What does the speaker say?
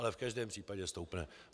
Ale v každém případě stoupne.